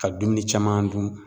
Ka dumuni caman dun